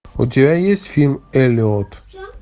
у тебя есть фильм эллиот